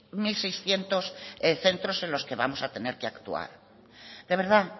unoseiscientos centros en los que vamos a tener que actuar de verdad